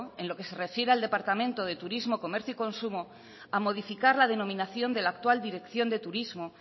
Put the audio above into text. en lo que se refiere al departamento de turismo comercio y consumo a modificar la denominación de la actual dirección de turismo